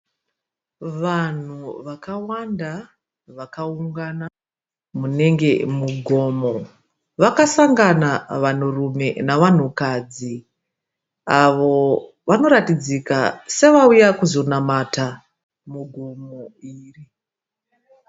Vanhu vakawanda vakaungana munenge mugomo vakasangana vanhurume navanhukadzi avo vanoratidzika sevauya kuzonamata mugomo iri.